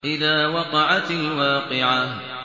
إِذَا وَقَعَتِ الْوَاقِعَةُ